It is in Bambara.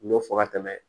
N y'o fɔ ka tɛmɛ